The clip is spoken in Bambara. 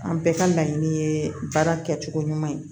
An bɛɛ ka laɲini ye baara kɛcogo ɲuman ye